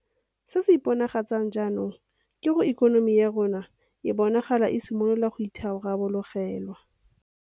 Se se iponagatsang jaanong ke gore ikonomi ya rona e bonagala e simolola go itharabologelwa.